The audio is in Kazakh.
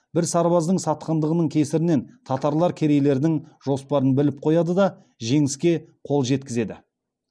бір сарбаздың сатқындығының кесірінен татарлар керейлердің жоспарын біліп қояды да жеңіске қол жеткізеді